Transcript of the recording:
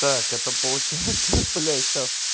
так это получается блять